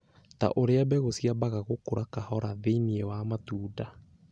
ta ũrĩa mbegũ ciambaga gũkũra kahora thĩinĩ wa matunda,